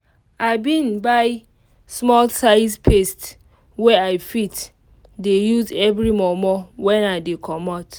i bin buy small size paste wey i fit dey use every momo when i dey comot.